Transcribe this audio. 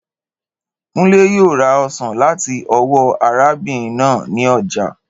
Kúnlé yóò ra osàn láti ọ́wọ́ arábin náà ni ojà.